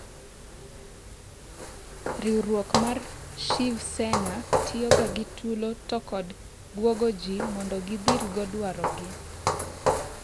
Rwiruok mar Shiv Sena tiyoga gi tulo to kod bwogoji mondo gidhirgo dwarogi.